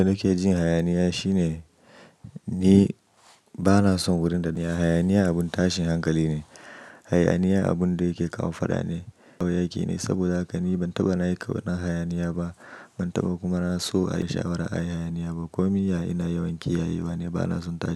Abin da nake jin hayaniya shine ni ba na son wurin da mai hayaniya abun tashin hankali ne. Hayaniya abun da yake kawo fada ne, tauyaki ne. Saboda haka ni ban taɓa na yi kowane hayaniya ba, ban taɓa kuma na so a yi sha'ira a hayaniya ba. Ko min ya ina yawanci ya yi bane, ba na son tashi.